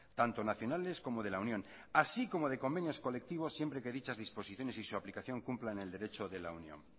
tanto nacionales como de la unión así como de convenios colectivos siempre que dichas disposiciones y su aplicación cumplan el derecho de la unión